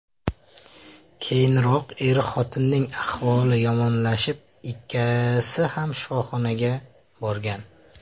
Keyinroq er-xotinning ahvoli yomonlashib, ikkisi ham shifoxonaga borgan.